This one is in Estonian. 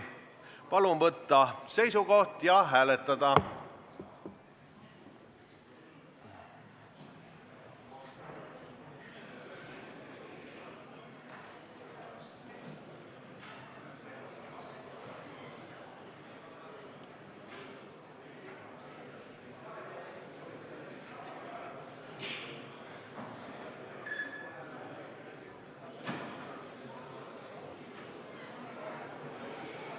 Palun võtta seisukoht ja hääletada!